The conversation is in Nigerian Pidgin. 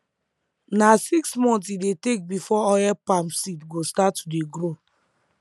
na six months e dey take before oil palm seed go start to grow